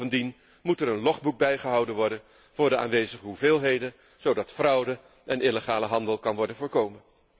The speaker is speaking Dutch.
Bovendien moet er een logboek bijgehouden worden voor de aanwezige hoeveelheden, zodat fraude en illegale handel kunnen worden voorkomen.